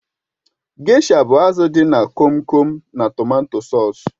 Gesha bụ azụ dị na Kom Kom na tomato sọsú